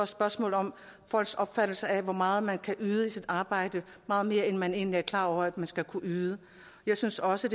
spørgsmål om folks opfattelse af hvor meget man kan yde i sit arbejde meget mere end man egentlig er klar over at man skal kunne yde jeg synes også